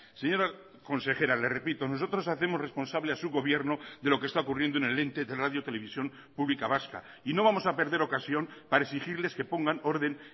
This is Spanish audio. señora consejera le repito nosotros hacemos responsable a su gobierno de lo que está ocurriendo en el ente de radio televisión pública vasca y no vamos a perder ocasión para exigirles que pongan orden